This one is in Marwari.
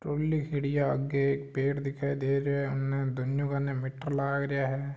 ट्रॉली खड़ी है आग एक पेड़ दिखाई दे रो है दोनो कानी मीटर लाग रा है।